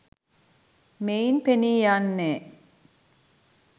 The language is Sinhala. මෙයින් පෙනී යන්නේ